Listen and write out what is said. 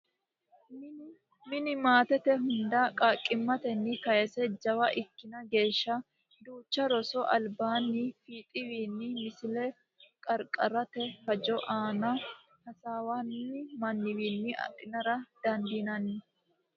Mine maatete hunda qaaqqimmatenni kayse jawa ikkina geeshsha duucha roso albaanni fiixiwiinni Misile Qarqaritte hajo aana hasaawanni manna adhinara dandiinanni.